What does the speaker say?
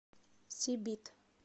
сибит